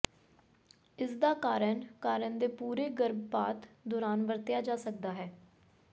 ਇਸਦਾ ਕਾਰਨ ਕਾਰਨ ਦੇ ਪੂਰੇ ਗਰਭਪਾਤ ਦੌਰਾਨ ਵਰਤਿਆ ਜਾ ਸਕਦਾ ਹੈ